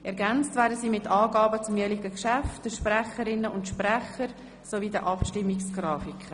Ergänzt werden sie mit Angaben zum jeweiligen Geschäft, der Sprecherinnen und Sprecher sowie den jeweiligen Abstimmungsgrafiken.